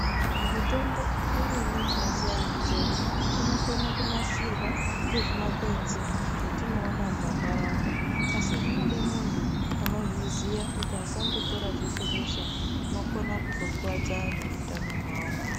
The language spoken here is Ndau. Mitombo imweni yechivantu chedu inokone kunasirwa ngezvimakwenzi zvetinoona mumandaraunda asi zvinode muntu unozviziva kuti asandotora zveshe zveshe unokona kuzokwadza vantu utano wavo.